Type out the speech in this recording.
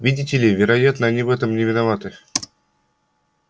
видите ли вероятно они в этом не виноваты